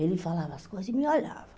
Ele falava as coisas e me olhava.